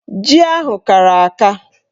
Ji ahụ kara aka.